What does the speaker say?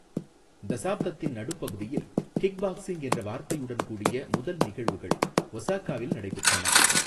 தசாப்தத்தின் நடுப்பகுதியில், kick boxing என்ற வார்த்தையுடன் கூடிய முதல் நிகழ்வுகள் ஒசாகாவில் நடைபெற்றன.